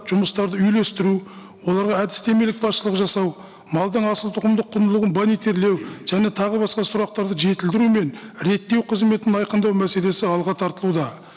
жұмыстарды үйлестіру оларға әдістемелік басшылық жасау малдың асылтұқымдық құндылығын және тағы басқа сұрақтарды жетілдіру мен реттеу қызметін айқындау мәселесі алға тартылуда